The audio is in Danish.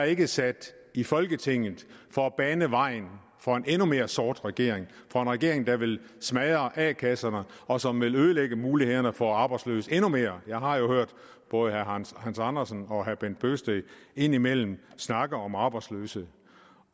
ikke sat i folketinget for at bane vejen for en endnu mere sort regering for en regering der vil smadre a kasserne og som vil ødelægge mulighederne for arbejdsløse endnu mere jeg har jo hørt både herre hans andersen og herre bent bøgsted indimellem snakke om arbejdsløse